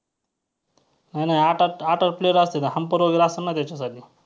आणि आठवा~आठवा player असतो ना umpire वगैरे असतो ना त्याच्यासाठी.